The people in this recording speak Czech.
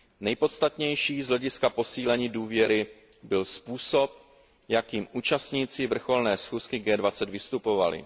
Nejpodstatnější z hlediska posílení důvěry byl způsob, jakým účastníci vrcholné schůzky G20 vystupovali.